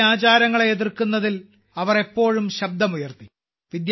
തെറ്റായ ആചാരങ്ങളെ എതിർക്കുന്നതിൽ അവർ എപ്പോഴും ശബ്ദമുയർത്തി